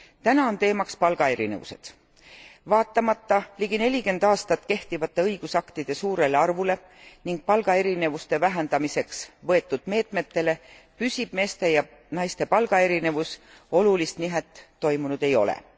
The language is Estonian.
Täna on teemaks palgaerinevused. Vaatamata ligi nelikümmend aastat kehtinud õigusaktide suurele arvule ning palgaerinevuste vähendamiseks võetud meetmetele püsib meeste ja naiste palgaerinevus olulist nihet toimunud ei ole.